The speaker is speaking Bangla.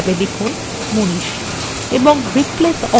এখন replace all click করুন